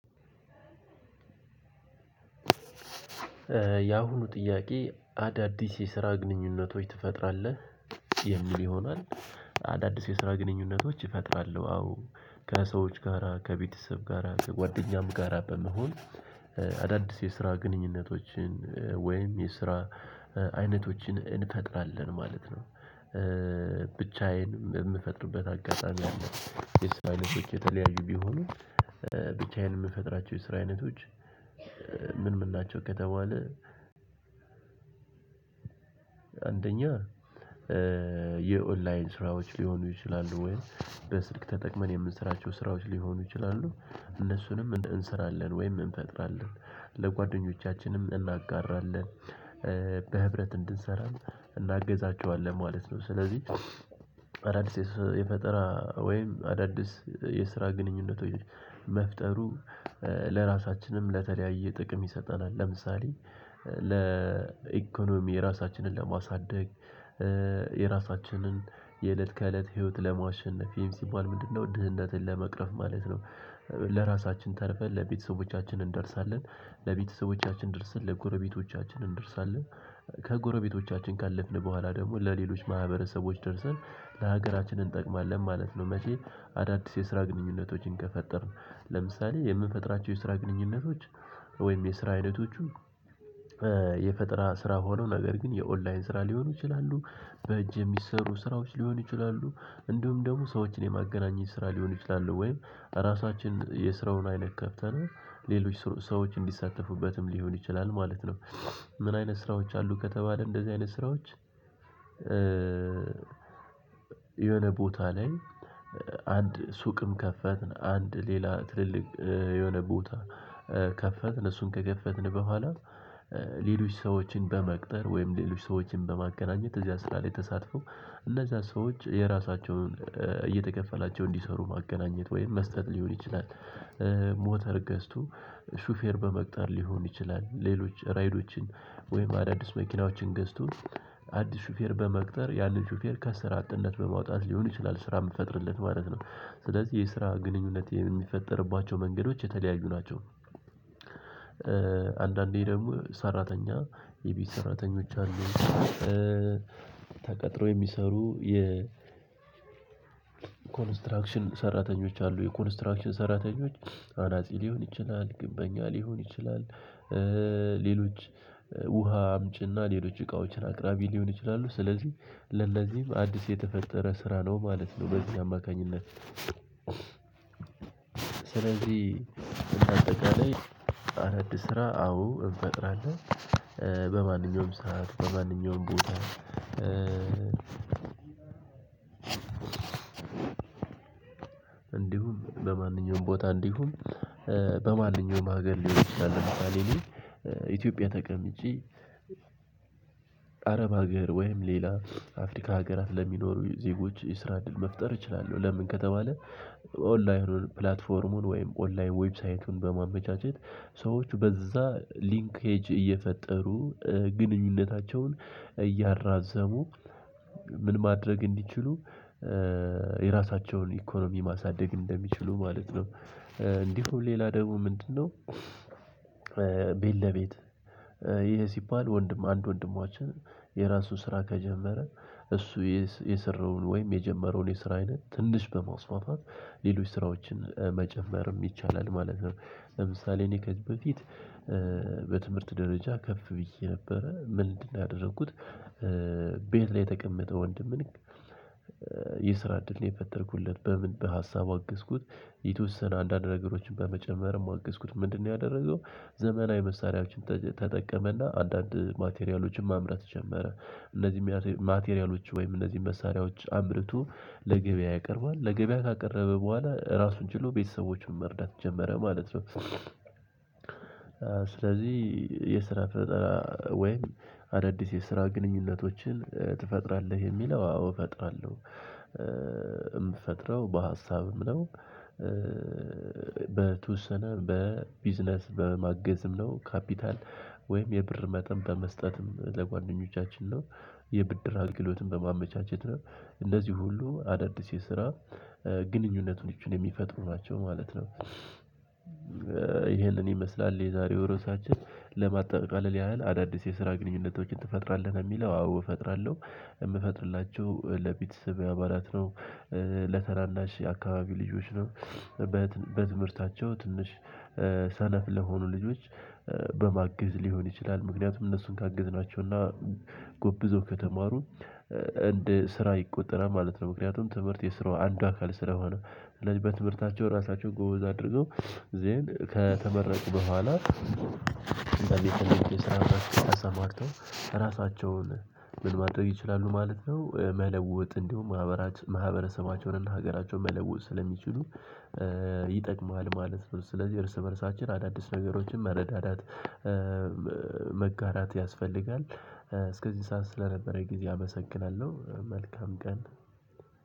ያሁኑ ጥያቄ አዳዲስ የስራ ግንኙነቶች ትፈጥራለህ የሚል ይሆናል። አዳዲስ የስራ ግንኙነቶች እፈጥራለሁ አዎ ከሰዎች ጋራ ከቤተሰብ ጋራ ከጓደኛም ጋራ በመሆን አዳዲስ የስራ ግንኙነቶችን ወይም የስራ አይነቶችን እንፈጥራለን ማለት ነው። ብቻዬን የምፈጥርበት አጋጣሚ አለ የስራ አይነቶች የተለያዩ ቢሆኑም ብቻዬን የምፈጥራቸው የስራ አይነቶች። ምን ምን ናቸው ከተባለ? አንደኛ የኦንላይን ስራዎች ሊሆኑ ይችላሉ ወይ በስልክ ተጠቅመን የምንሰራቸው ስራዎች ሊሆኑ ይችላሉ እነሱንም እንስራለን ወይም እንፈጥራለን ለጓደኞቻችንም እናጋራለን። በህብረት እንድንሰራ እናግዛቸዋለን ማለት ነው። ስለዚህ አዳዲስ የፈጠራ ወይም አዳዲስ የስራ ግንኙነቶች መፍጠሩ ለራሳችንም ለተለያየ ጥቅም ይሰጠናል። ለምሳሌ ለኢኮኖሚ ራሳችንን ለማሳደግ የራሳችንን የእለት ከእለት ህይወት ለማሸነፍ ሲባል ምንድነው ድህነትን ለመቅረፍ ማለት ነው? ለራሳችን ተርፈን ለቤተሰቦቻችን እንደርሳለን ለቤተሰቦቻችን ድርሰን ለጎረቤቶቻችን እንደርሳለን። ከጎረቤቶቻችን ካለፍን በኋላ ደግሞ ለሌሎች ማህበረሰቦች ደርሰን ለሀገራችን እንጠቅማለን ማለት ነው። መቼ? አዳዲስ የስራ ግንኙነቶችን ከፈጠርን ለምሳሌ የምንፈጥራቸው የስራ ግንኙነቶች ወይም የስራ አይነቶቹ። የፈጠራ ስራ ሆነው ነገር ግን የኦንላይን ስራ ሊሆኑ ይችላሉ በእጅ የሚሰሩ ስራዎች ሊሆኑ ይችላሉ እንዲሁም ደግሞ ሰዎችን የማገናኘት ስራ ሊሆኑ ይችላሉ ወይም ራሳችን የስራውን አይነት ከፍተን ሌሎች ሰዎች እንዲሳተፉበትም ሊሆን ይችላል ማለት ነው። ምን አይነት ስራዎች አሉ ከተባለ? እንደዚህ አይነት ስራዎች። የሆነ ቦታ ላይ አንድ ሱቅም ከፈትን አንድ ሌላ ትልልቅ የሆነ ቦታ ከፈትን እሱን ከከፈትን በኋላ። ሌሎች ሰዎችን በመቅጠር ወይም ሌሎች ሰዎችን በማገናኘት እዚያ ስራ ላይ ተሳትፈው እነዛ ሰዎች የራሳቸውን እየተከፈላቸው እንዲሰሩ ማገናኘት ወይም መስጠት ሊሆን ይችላል። ሞተር ገዝቶ ሹፌር በመቅጠር ሊሆን ይችላል ሌሎች ራይዶችን ወይም አዳዲስ መኪናዎችን ገዝቶ አዲስ ሹፌር በመቅጠር ያንን ሹፌር ከስራ አጥነት በማውጣት ሊሆን ይችላል ስራ የምትፈጥርለት ማለት ነው። ስለዚህ የስራ ግንኙነት የሚፈጠርባቸው መንገዶች የተለያዩ ናቸው። አንዳንዴ ደግሞ ሰራተኛ የቤት ሰራተኞች አሉ። ተቀጥሮ የሚሰሩ የኮንስትራክሽን ሰራተኞች አሉ የኮንስትራክሽን ሰራተኞች አናጺ ሊሆን ይችላል ግንበኛ ሊሆን ይችላል። ሌሎች ውሃ አምጪና ሌሎች እቃዎችን አቅራቢ ሊሆኑ ይችላሉ ስለዚህ ለነዚህም አዲስ የተፈጠረ ስራ ነው ማለት ነው። በዚህ አማካኝነት ስለዚህ እና አጠቃላይ አረድ ስራ አዎ እንፈጥራለን። በማንኛውም ሰዓት በማንኛውም ቦታ። እንዲሁም በማንኛውም ቦታ እንዲሁም በማንኛውም ሀገር ሊሆን ይችላል። ለምሳሌ እኔ ኢትዮጵያ ተቀምጬ አረብ ሀገር ወይም ሌላ አፍሪካ ሀገራት ለሚኖሩ ዜጎች የስራ እድል መፍጠር እችላለሁ። ለምን ከተባለ? ኦንላይን ፕላትፎርሙን ወይም ኦንላይን ዌብሳይቱን በማመቻቸት ሰዎች በዛ ሊንኬጅ እየፈጠሩ ግንኙነታቸውን እያራዘሙ ምን ማድረግ እንዲችሉ የራሳቸውን ኢኮኖሚ ማሳደግ እንደሚችሉ ማለት ነው። እንዲሁ ሌላ ደግሞ ምንድነው? ቤት ለቤት ይሄ ሲባል ወንድም አንድ ወንድማችን የራሱ ስራ ከጀመረ እሱ የሰራውን ወይም የጀመረውን የስራ አይነት ትንሽ በማስፋፋት ሌሎች ስራዎችን መጨመርም ይቻላል ማለት ነው። ለምሳሌ እኔ ከዚህ በፊት በትምህርት ደረጃ ከፍ ብዬ ነበረ ምንድነው ያደረኩት? ቤት ላይ የተቀመጠ ወንድምን የስራ እድል ነው የፈጠርኩለት በምን በሀሳብ አገዝኩት። የተወሰነ አንዳንድ ነገሮችን በመጨመርም አገዝኩት ምንድነው ያደረገው? ዘመናዊ መሳሪያዎችን ተጠቀመና አንዳንድ ማቴሪያሎችን ማምረት ጀመረ። እነዚህም ማቴሪያሎች ወይም እነዚህን መሳሪያዎች አምርቶ ለገበያ ያቀርባል ለገበያ ካቀረበ በኋላ ራሱን ችሎ ቤተሰቦቹን መርዳት ጀመረ ማለት ነው። ስለዚህ የስራ ፈጠራ ወይም አዳዲስ የስራ ግንኙነቶችን ትፈጥራለህ የሚለው አዎ እፈጥራለሁ። ምፈጥረው በሀሳብም ነው። በተወሰነ በቢዝነስ በማገዝም ነው ካፒታል ወይም የብር መጠን በመስጠትም ለጓደኞቻችን ነው። የብድር አገልግሎትን በማመቻቸት ነው። እንደዚህ ሁሉ አዳዲስ የስራ ግንኙነቶችን የሚፈጥሩ ናቸው ማለት ነው። ይሄን ይመስላል የዛሬው ርዕሳችን ለማጠቃለል ያህል አዳዲስ የስራ ግንኙነቶችን ትፈጥራለህ የሚለው አዎ እፈጥራለሁ። የምፈጥርላቸው ለቤተሰብ አባላት ነው። ለታናናሽ አካባቢ ልጆች ነው። በትምህርታቸው ትንሽ ሰነፍ ለሆኑ ልጆች በማገዝ ሊሆን ይችላል ምክንያቱም እነሱን ካገዝናቸውና ጎብዘው ከተማሩ እንደስራ ይቆጠራል ማለት ነው። ምክንያቱም ትምህርት የስራው አንድ አካል ስለሆነ። እንደዚህ ተነገረኝ ስራ አማርጠው ራሳቸውን ምን ማድረግ ይችላሉ ማለት ነው? መለወጥ እንዲሁም ማህበራችን ማህበረሰባቸውን እና ሀገራቸውን መለወጥ ስለሚችሉ ይጠቅማል ማለት ነው። ስለዚህ እርስ በእርሳችን አዳዲስ ነገሮችን መረዳዳት መጋራት ያስፈልጋል። እስከዚህ ሰዓት ስለነበረ ጊዜ አመሰግናለሁ መልካም ቀን።